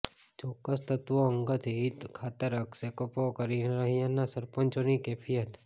ચોક્કસ તત્ત્વો અંગત હિત ખાતર આક્ષેપો કરી રહ્યાની સરપંચોની કેફિયત